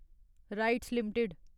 rights limited